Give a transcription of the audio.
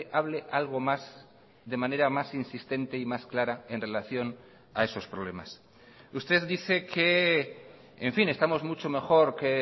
hable algo más de manera más insistente y más clara en relación a esos problemas usted dice que en fin estamos mucho mejor que